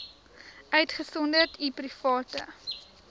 uitgesonderd u private